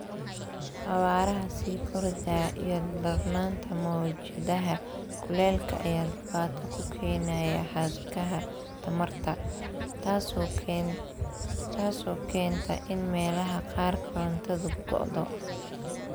Xawaaraha sii kordhaya iyo darnaanta mowjadaha kulaylka ayaa dhibaato ku keenaya xadhkaha tamarta, taasoo keenta in meelaha qaar korontadu go�do.